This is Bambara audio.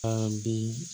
An bi